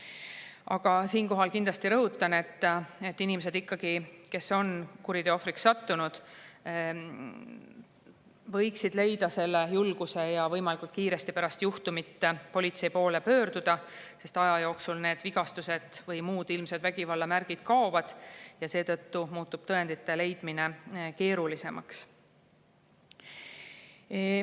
Aga siinkohal kindlasti rõhutan, et inimesed, kes on kuriteo ohvriks sattunud, võiksid leida selle julguse, et võimalikult kiiresti pärast juhtumit politsei poole pöörduda, sest aja jooksul need vigastused või muud ilmsed vägivallamärgid kaovad ja seetõttu muutub tõendite leidmine keerulisemaks.